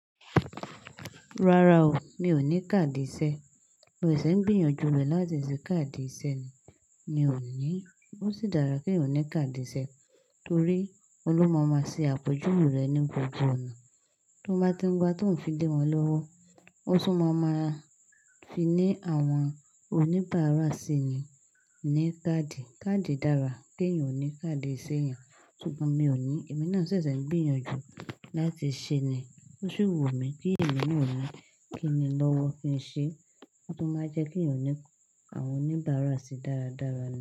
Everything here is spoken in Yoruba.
Rárá o, mi ò ní káàdì ìṣe. Mo ṣẹ̀ṣẹ̀ ń gbìyànjú rẹ̀ láti ṣe káàdì ìṣe ni. Mi ò ní. Ó sì dára ki eeyan ní káàdì ìṣe, torí óhun lo máa n ṣe àpèjúwe rẹ̀ ní gbogbo ọ̀nà. Tó bá tí ń gbá tí òún fi lé wọn lọ́wọ́. Ó sì máa ma fi ní àwọn oníbàárà síi ni ní káàdì. Káàdì dára pé ì wọ̀ ní káàdì ìṣe èèyàn, ṣùgbọ́n mi ò ní. Èmi náà ṣẹ̀ṣẹ̀ ń gbìyànjú láti ṣe ni. Ó sì wù mí pé ìmi náà ó máa kí ni lọ́wọ́ kí ń ṣe, tó máa jẹ́ kí ì wọ̀ ní àwọn oníbàárà sì dára dára náà.